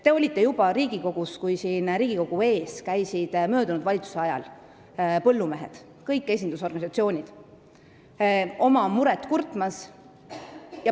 Te olite juba Riigikogus, kui eelmise valitsuse ajal käisid siin Riigikogu ees kõik põllumeeste esindusorganisatsioonid oma muret kurtmas.